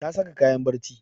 Ta saka kayan barci